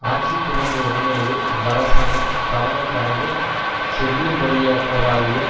ஆட்சிக்கு வந்த உடனேயே இவ்வரசாங்கம் தவணை கடந்து செல்லுபடியற்றதாகிய